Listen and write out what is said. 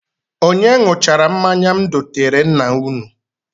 Onye ṅụchara mmanya m doteere nna unu?